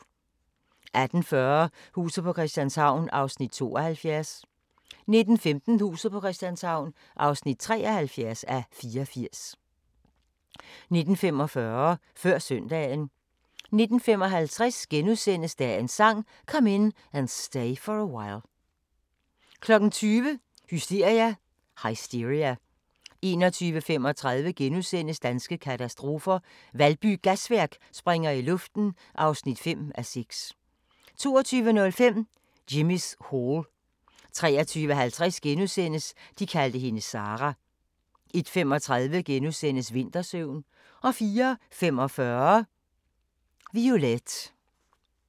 18:40: Huset på Christianshavn (72:84) 19:15: Huset på Christianshavn (73:84) 19:45: Før søndagen 19:55: Dagens Sang: Come In And Stay For A While * 20:00: Hysteria 21:35: Danske katastrofer – Valby Gasværk springer i luften (5:6)* 22:05: Jimmy's Hall 23:50: De kaldte hende Sarah * 01:35: Vintersøvn * 04:45: Violette